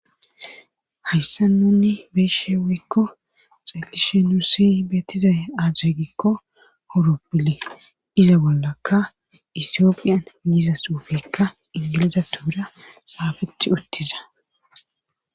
hayssa nunni beeshe wekko xalishe nusi betizay aazuygikko horoppile iza bollakka itiopiyan giza suufeykka ingilizathora xaafeti uttiza